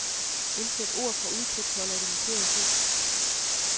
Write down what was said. Indsæt ord fra udklipsholder i det markerede felt.